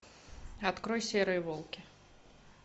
открой серые волки